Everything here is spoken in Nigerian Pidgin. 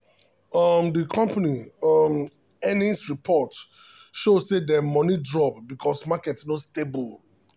um the company um earnings report show say dem money drop because market no stable.